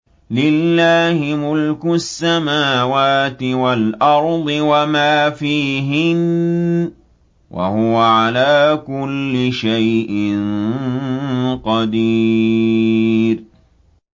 لِلَّهِ مُلْكُ السَّمَاوَاتِ وَالْأَرْضِ وَمَا فِيهِنَّ ۚ وَهُوَ عَلَىٰ كُلِّ شَيْءٍ قَدِيرٌ